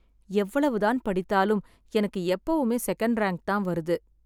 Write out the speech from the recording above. எவ்வளவுதான் படித்தாலும் எனக்கு எப்பவுமே செகண்ட் ரேங்க் தான் வருது